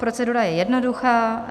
Procedura je jednoduchá.